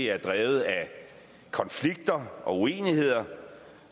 er drevet af konflikter og uenigheder